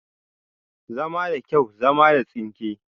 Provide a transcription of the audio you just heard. Zama da kyau, zama da tsinke